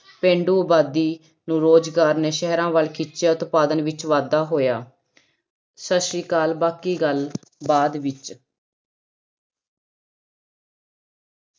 ਪੇਂਡੂ ਆਬਾਦੀ ਨੂੰ ਰੋਜ਼ਗਾਰ ਨੇ ਸ਼ਹਿਰਾਂ ਵੱਲ ਖਿੱਚਿਆ, ਉਤਪਾਦਨ ਵਿੱਚ ਵਾਧਾ ਹੋਇਆ ਸਤਿ ਸ੍ਰੀ ਅਕਾਲ ਬਾਕੀ ਗੱਲ ਬਾਅਦ ਵਿੱਚ।